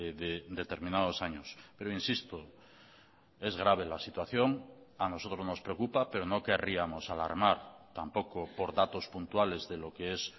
de determinados años pero insisto es grave la situación a nosotros nos preocupa pero no querríamos alarmar tampoco por datos puntuales de lo que es